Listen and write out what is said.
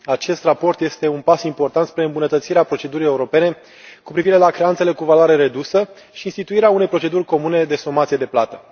Acest raport este un pas important spre îmbunătățirea procedurii europene cu privire la creanțele cu valoare redusă și instituirea unei proceduri comune de somație de plată.